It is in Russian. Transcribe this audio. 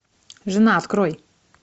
жена открой